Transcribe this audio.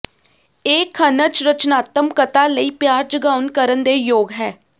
ਇਹ ਖਣਿਜ ਰਚਨਾਤਮਕਤਾ ਲਈ ਪਿਆਰ ਜਗਾਉਣ ਕਰਨ ਦੇ ਯੋਗ ਹੈ